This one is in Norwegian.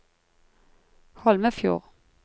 Holmefjord